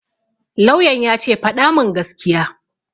Lauyan ya ce 'Faɗa mun gaskiya'!